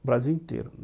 O Brasil inteiro.